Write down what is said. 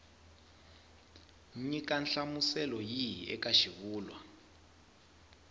nyika nhlamuselo yihi eka xivulwa